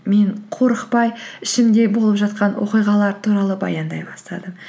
мен қорықпай ішімде болып жатқан оқиғалар туралы баяндай бастадым